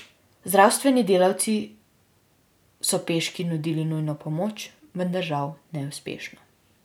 Zdravstveni delavci so peški nudili nujno pomoč, vendar žal neuspešno.